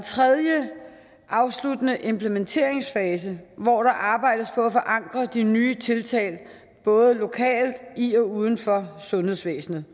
afsluttende implementeringsfase hvor der arbejdes på at forankre de nye tiltag både lokalt og i og uden for sundhedsvæsenet